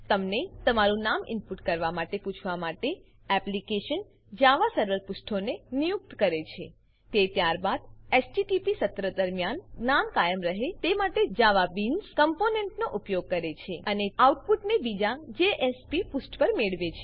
તમને તમારું નામ ઇનપુટ કરવા માટે પૂછવા માટે એપ્લીકેશન જાવાસર્વર પુષ્ઠોને નિયુક્ત કરે છે તે ત્યારબાદ એચટીટીપી સત્ર દરમ્યાન નામ કાયમ રહે તે માટે જાવાબીન્સ કમ્પોનેંટનો ઉપયોગ કરે છે અને ત્યારબાદ આઉટપુટને બીજા જેએસપી પુષ્ઠ પર મેળવે છે